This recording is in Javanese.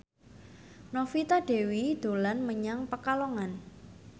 Novita Dewi dolan menyang Pekalongan